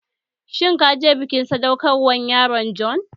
Shin ka je bikin sadaukar wa yaron John?